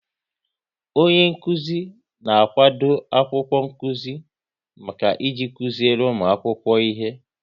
Onyenkụzi na-akwado akwụkwọ nkụzi maka iji kụziri ụmụ akwụkwọ ihe